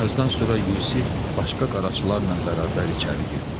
Bir azdan sonra Yusif başqa qaraçılarla bərabər içəri girdi.